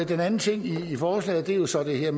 den anden ting i forslaget er jo så det her